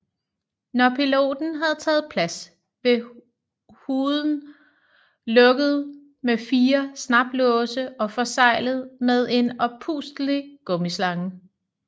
Når piloten havde taget plads blev hooden lukket med fire snaplåse og forseglet med en oppustelig gummislange